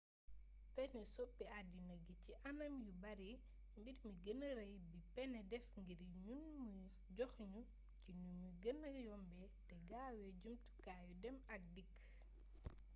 pënë soppi addina gi ci anam yu bare mbir mi gëna rëy bi pënë def ngir ñun mooy jox nu ci nu mu gëna yombee te gaawee jumtukaayu dem ak dikk